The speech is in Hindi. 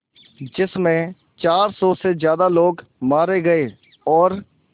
जिस में चार सौ से ज़्यादा लोग मारे गए और